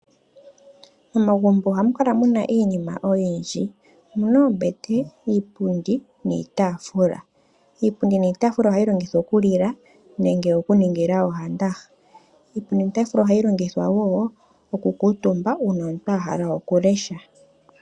Momagumbo ohamu kala mu na iinima oyindji. Omu na oombete, iipundi niitaafula. Iipundi niitaafula ohayi longithwa okulila nenge okuningila owandaha. Iipundi niitaafula ohayi longithwa wo okukuutumba uuna omuntu a hala okulesha.